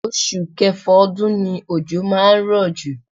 Oṣù Kẹfà ọdún ni ojo máa ń rọ̀ jù.